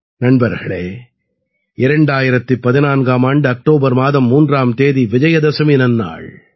நண்பர்களே 2014ஆம் ஆண்டு அக்டோபர் மாதம் 3ஆம் தேதி விஜயதசமி நன்னாள்